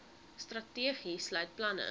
strategie sluit planne